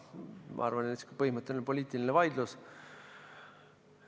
Ma arvan, et see on põhimõtteline poliitiline vaidlus.